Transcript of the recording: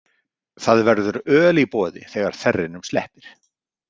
Það verður öl í boði þegar þerrinum sleppir.